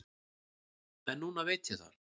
En núna veit ég það.